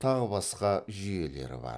тағы басқа жүйелері бар